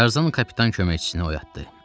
Tarzan kapitan köməkçisini oyatdı.